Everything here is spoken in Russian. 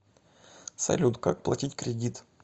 салют как платить кредит